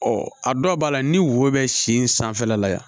Ɔ a dɔw b'a la ni wo bɛ sen sanfɛla la yan